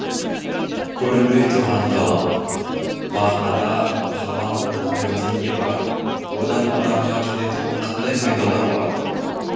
көрінбей тұрған ғалам мағынада ғалам ламирде не бар одан адамға келетұғын қандай пайдалар бар